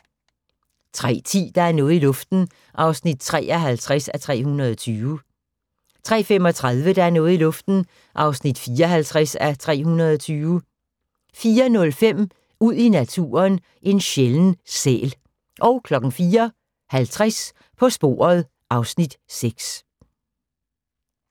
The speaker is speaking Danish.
03:10: Der er noget i luften (53:320) 03:35: Der er noget i luften (54:320) 04:05: Ud i naturen: En sjælden sæl 04:50: På sporet (Afs. 6)